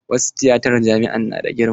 Wasu tiyatan jami'a na da girma.